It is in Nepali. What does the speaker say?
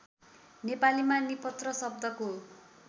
नेपालीमा निपत्र शब्दको